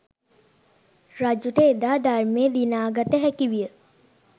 රජුට එදා ධර්මය දිනාගත හැකි විය.